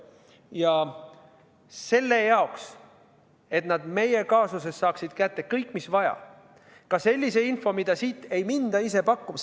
Ja on vaja, et nad meie kaasusest saaksid kätte kõik, mis vaja, ka sellise info, mida siit ei minda ise pakkuma.